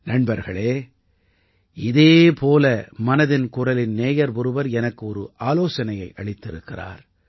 நண்பர்களே இதே போல மனதின் குரலின் நேயர் ஒருவர் எனக்கு ஒரு ஆலோசனையை அளித்திருக்கிறார்